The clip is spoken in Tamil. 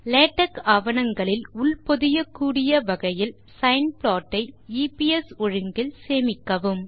லேடெக்ஸ் ஆவணங்களில் உட்பொதியக்கூடிய வகையில் சைன் ப்ளாட் ஐ எப்ஸ் ஒழுங்கில் சேமிக்கவும்